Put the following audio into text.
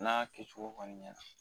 N'a kɛcogo kɔni ɲɛna